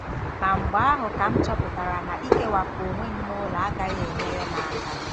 Ma mgbe ahụ kam chọpụtara na ikewapụ onwe m n'ụlọ agaghị enyere m aka.